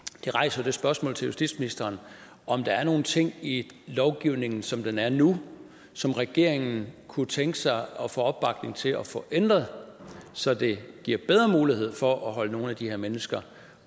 det rejser jo det spørgsmål til justitsministeren om der er nogle ting i lovgivningen som den er nu som regeringen kunne tænke sig at få opbakning til at få ændret så det giver bedre mulighed for at holde nogle af de her mennesker